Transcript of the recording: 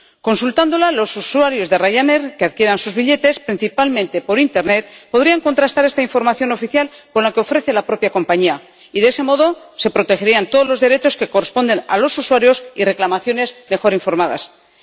Consultándola, los usuarios de Rayanair que adquieran sus billetes, principalmente por internet, podrían contrastar esta información oficial con la que ofrece la propia compañía y, de ese modo, se protegerían todos los derechos que corresponden a los usuarios y se informaría mejor sobre las reclamaciones.